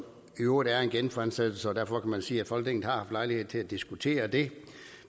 i øvrigt en genfremsættelse og derfor kan man sige at folketinget har haft lejlighed til at diskutere det